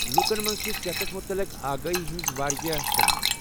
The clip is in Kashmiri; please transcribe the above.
لوٗکن منٛز چھےٚ صحتس متعلق آگٲہی ہنٛز واریاہ کٔمی۔